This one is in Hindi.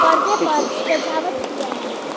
पर्दे पर सजावट किया है।